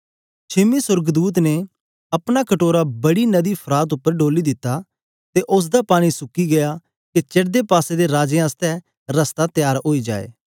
छेमे सोर्गदूत ने अपना कटोरा बड़ी नदी फरात उपर डोली दित्ता ते उस्स दा पानी सुकी गीया के चडदी पासे दे राजें आसतै रस्ता तेयार ओई जाए